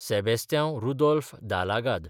Sebastiao Rudolf Dalgado